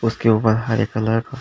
उसके ऊपर हरे कलर --